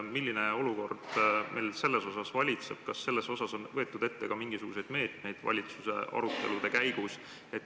Milline olukord selles osas valitseb?